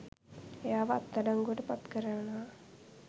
එයාව අත්තඩංගුවට පත්කරවනවා.